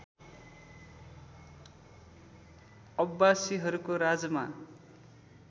अब्बासिहरूको राजमा